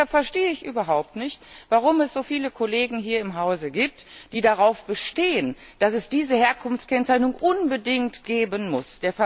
Deshalb verstehe ich überhaupt nicht, warum es so viele Kollegen hier im Hause gibt, die darauf bestehen, dass es diese Herkunftskennzeichnung unbedingt geben muss.